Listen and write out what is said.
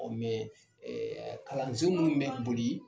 kalansen minnu bɛ boli